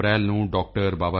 14 April ਨੂੰ ਡਾ